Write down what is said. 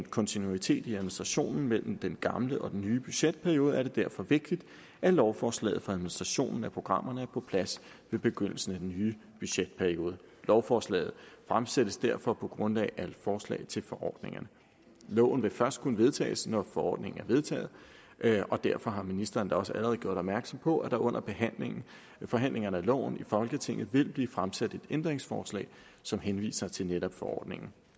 kontinuitet i administrationen mellem den gamle og den nye budgetperiode er det derfor vigtigt at lovforslaget for administrationen af programmerne er på plads ved begyndelsen af den nye budgetperiode lovforslaget fremsættes derfor på grundlag af forslag til forordningerne loven vil først kunne vedtages når forordningen er vedtaget og derfor har ministeren da også allerede gjort opmærksom på at der under forhandlingerne af loven i folketinget vil blive fremsat et ændringsforslag som henviser til netop forordningen